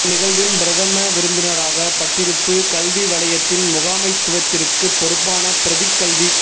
இந் நிகழ்வின் பிரதம விருந்தினராக பட்டிருப்பு கல்வி வலயத்தின் முகாமைத்துவத்திற்குப் பொறுப்பான பிரதிக் கல்விப்